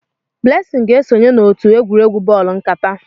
Blessing ga-esonye n'otu egwuregwu bọọlụ nkata.